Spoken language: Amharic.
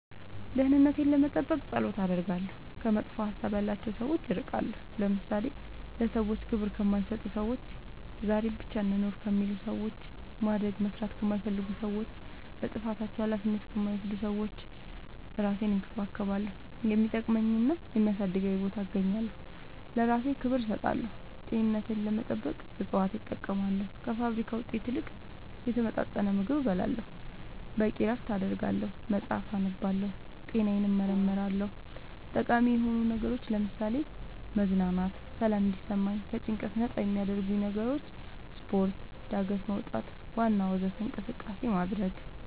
ደህንነቴን ለመጠበቅ ፀሎት አደርጋለሁ ከመጥፎ ሀሳብ ያላቸው ሰዎች እርቃለሁ ለምሳሌ ለሰዎች ክብር ከማይሰጡ ሰዎች ዛሬን ብቻ እንኑር ከሚሉ ሰዎች ማደግ መስራት ከማይፈልጉ ሰዎች ለጥፋታቸው አላፊነት ከማይወስዱ ሰዎች እራሴን እንከባከባለሁ የሚጠቅመኝና የሚያሳድገኝ ቦታ እገኛለሁ ለእራሴ ክብር እሰጣለሁ ጤንነቴን ለመጠበቅ እፅዋት እጠቀማለሁ ከፋብሪካ ውጤት ይልቅ የተመጣጠነ ምግብ እበላለሁ በቂ እረፍት አደርጋለሁ መፅአፍ አነባለሁ ጤናዬን እመረመራለሁ ጠቃሚ የሆኑ ነገሮች ለምሳሌ መዝናናት ሰላም እንዲሰማኝ ከጭንቀት ነፃ የሚያረጉኝ ነገሮች ስፓርት ጋደት መውጣት ዋና ወዘተ እንቅስቃሴ ማድረግ